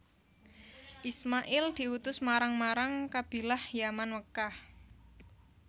Isma il diutus marang marang Qabilah Yaman Mekkah